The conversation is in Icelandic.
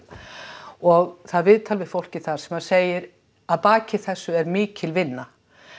og það var viðtal við fólkið þar sem segir að baki þessu er mikil vinna